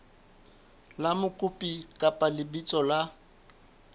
la mokopi kapa lebitso la